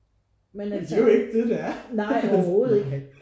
Men altså nej overhovedet ikke